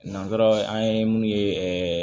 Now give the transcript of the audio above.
Nanzaraw an ye mun ye ɛɛ